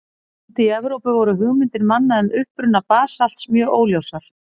Úti í Evrópu voru hugmyndir manna um uppruna basalts mjög óljósar.